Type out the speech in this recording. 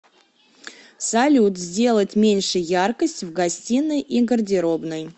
салют сделать меньше яркость в гостиной и гардеробной